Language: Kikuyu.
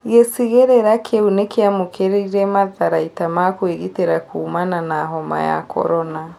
Gĩcigĩrĩra kĩu nĩkĩamũkĩrīre matharaita ma kũĩgitĩra kũũmana na homa ya korona